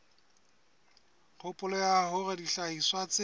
kgopolo ya hore dihlahiswa tse